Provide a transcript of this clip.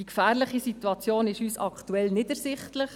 Die gefährliche Situation ist für uns aktuell nicht ersichtlich.